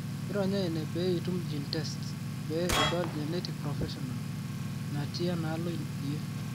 ironya ene pee itum GeneTests pee idol genetic professional naatiiienalo iyie.